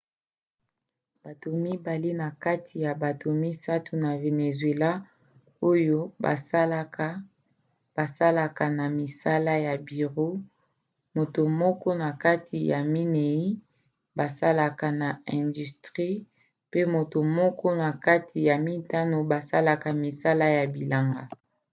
bato mibale na kati ya bato misato ya venezuela oyo basalaka basalaka na misala ya biro moto moko na kati ya minei basalaka na industrie pe moto moko kati na mitano basalaka misala ya bilanga